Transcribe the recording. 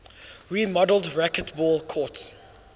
remodeled racquetball courts